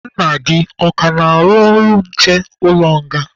Nna gị ọ ka na-arụ ọrụ nche n'ụlọ nga?